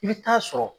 I bɛ taa sɔrɔ